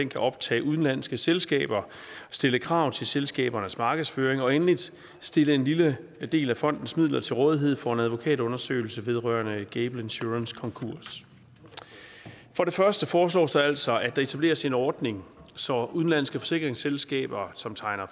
kan optage udenlandske selskaber stille krav til selskabernes markedsføring og endelig stille en lille del af fondens midler til rådighed for en advokatundersøgelse vedrørende gable insurances konkurs for det første foreslås der altså at der etableres en ordning så udenlandske forsikringsselskaber som tegner